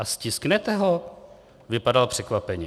"A stisknete ho?" Vypadal překvapeně.